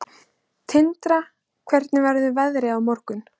Tindra, hvernig verður veðrið á morgun?